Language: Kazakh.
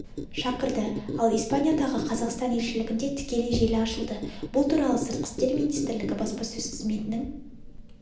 шақырды ал испаниядағы қазақстан елшілігінде тікелей желі ашылды бұл туралы сыртқы істер минитстрілігі баспасөз қызметінің